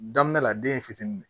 Daminɛ la den fitinin de